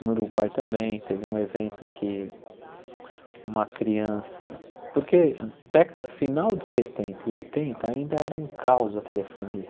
No Uruguai também teve um evento que uma criança... Porque década final de setenta e oitenta ainda era um caos a telefonia.